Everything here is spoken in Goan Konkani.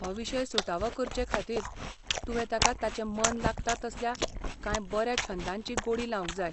हो विशय सुटावो करचेखातीर तुवें ताका ताचें मन लागता तसल्या कांय बऱ्या छंदांची गोडी लावंक जाय.